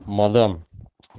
мадам